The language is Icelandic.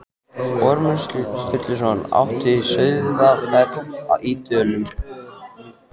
Ormur Sturluson átti Sauðafell í Dölum.